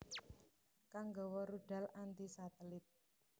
kang nggawa rudal anti satelit